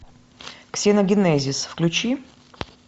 ксеногенезис включи